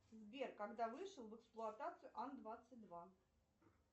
сбер когда вышел в эксплуатацию ан двадцать два